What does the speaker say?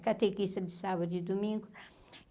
Catequista de sábado e domingo.